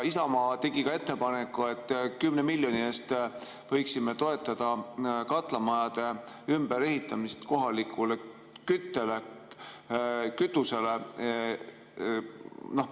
Isamaa tegi ettepaneku, et 10 miljoni eest võiksime toetada katlamajade ümberehitamist kohaliku kütuse kasutamise jaoks.